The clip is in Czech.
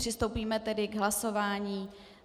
Přistoupíme tedy k hlasování.